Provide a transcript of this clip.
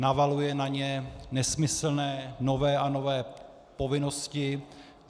Navaluje na ně nesmyslné nové a nové povinnosti.